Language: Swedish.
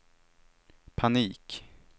panik